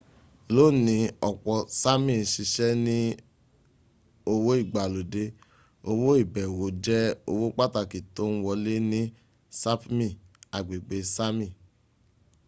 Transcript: lóni ọ̀pọ̀ sámì n ṣiṣẹ́ ní òwò ìgbàlódẹ́ òwò ìbẹ̀wò jẹ́ owó pàtàkì tón wọlé ní sapmi agbègbè sámì